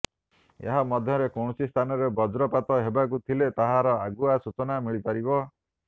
ଏହା ମାଧ୍ୟମରେ କୌଣସି ସ୍ଥାନରେ ବଜ୍ରପାତ ହେବାକୁ ଥିଲେ ତାହାର ଆଗୁଆ ସୂଚନା ମିଳିପାରିବ